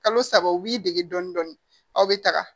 Kalo saba u b'i dege dɔɔnin dɔɔnin aw bɛ taga